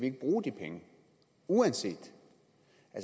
ikke bruge de penge uanset